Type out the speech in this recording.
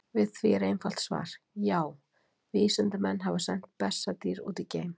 Við því er til einfalt svar: Já, vísindamenn hafa sent bessadýr út í geim!